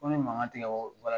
Ko ni mankan ti ka bɔ